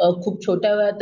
अम आपल्या खूप छोट्या वयात